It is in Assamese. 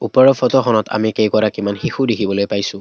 ওপৰৰ ফটোখনত আমি কেইগৰাকীমান শিশু দেখিবলৈ পাইছোঁ।